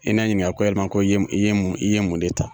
I nɛ ɲininka ko yalima i ye mun i ye mun i ye mun de ta.